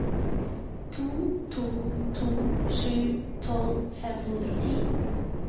to to to sju tolv fem hundre og ti